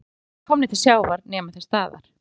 Þegar ungarnir eru komnir til sjávar nema þeir staðar.